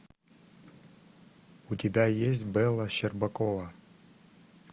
у тебя есть белла щербакова